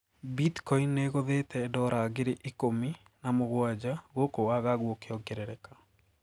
Bitcoin niigũthite dora ngei ikũmi na mũgwanja gũkũ wagagu ũkiongerereka.